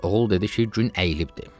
Oğul dedi ki, gün əyilibdir.